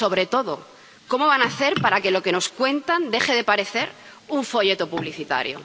Y, sobre todo, ¿cómo van a hacer para que lo que nos cuentan deje de parecer un folleto publicitario?